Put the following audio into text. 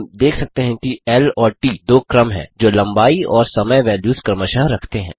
हम देख सकते हैं कि ल और ट दो क्रम हैं जो लम्बाई और समय वैल्युस क्रमशः रखते हैं